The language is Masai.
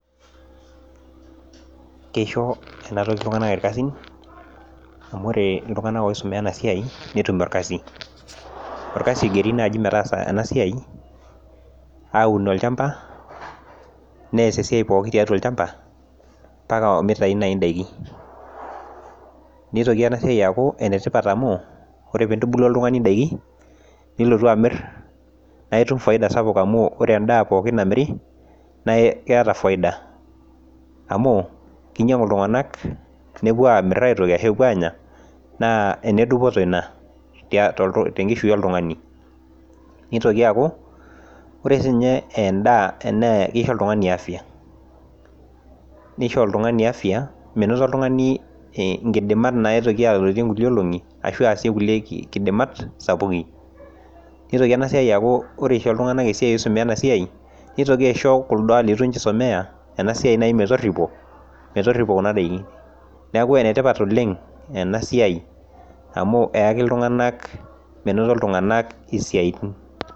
Keisho enatoki iltunganak irkasin, amu wore iltunganak oisumia ena siai netum orkasi. Orkasi oigeri naai metaasa ena siai aun olchamba, neas esiai pookin tiatua olchamba, mbaka omitayu naai indaikin. Nitoki ena siai aaku enetipat amu, yiolo pee intubulu oltungani indaikin, nilotu amir, naa itum faida sapuk amu wore endaa pookin namiri naa itum faida. Amu kinyiangu iltunganak, nepuo aamir aitoki ashu epuo aanya, neeku enedupoto inia tenkishui oltungani. Nitoki aaku, wore siinye endaa kisho oltungani afya, nisho oltungani afya minoto oltungani inkidimat naitoki alotie inkulie olongi ashu aasie inkulie kidimat sapukin. Nitoki ena siai aaku wore isho iltunganak esiai oisumia ena siai, nitoki aisho kuldo litu ninche isumia ena siai duo metorripo, metorripo kuna daikin. Neeku ene tipat oleng' ena siai amu eaki iltunganak minoto iltunganak isiatin.